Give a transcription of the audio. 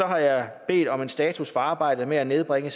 har jeg bedt om en status for arbejdet med at nedbringe